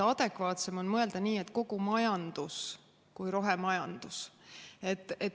Adekvaatsem on mõelda nii, et kogu majandus on rohemajandus.